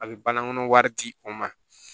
A bɛ bankɔnɔ wari di o ma